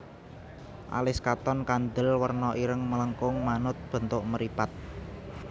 Alis katon kandel werna ireng melengkung manut bentuk mripat